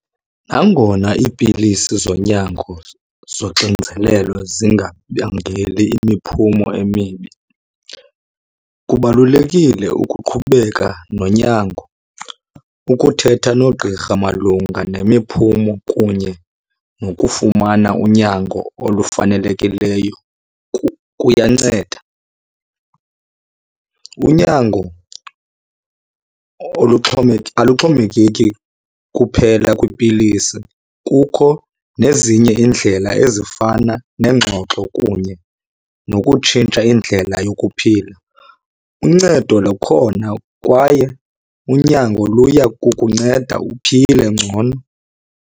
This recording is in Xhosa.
Nangona iipilisi zonyango zoxinzelelo zingabangeli imiphumo emibi kubalulekile ukuqhubeka nonyango, ukuthetha noogqirha malunga nemiphumo kunye nokufumana unyango olufanelekileyo kuyanceda. Unyango aluxhomekeki kuphela kwipilisi, kukho nezinye iindlela ezifana nengxoxo kunye nokutshintsha indlela yokuphila. Uncedo lukhona kwaye unyango luyakukunceda uphile ngcono.